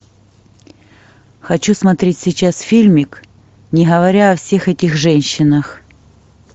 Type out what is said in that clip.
хочу смотреть сейчас фильмик не говоря о всех этих женщинах